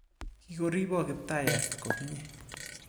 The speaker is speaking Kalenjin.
Kikoribok Kiptayat komnye.